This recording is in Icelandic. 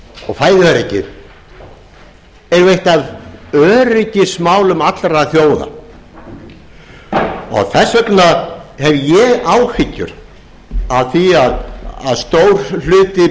og fæðuöryggið eru jú eitt af öryggismálum allra þjóða þess vegna hef ég áhyggjur af því að stór hluti bænda á